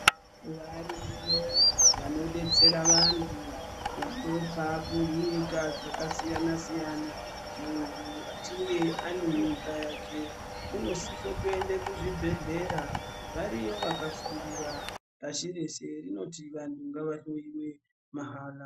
Variyo vanodetsera vantu vanobva kunyika dzakasiyana siyana , muntu achinge anemimba yake unosise kuenda kuzvibhedhlera variyo vakafundira pashi reshe rinoti vanhu ngavahloiwe mahara.